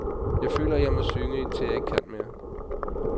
Jeg føler, jeg må synge, indtil jeg ikke kan mere.